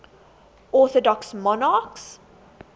orthodox monarchs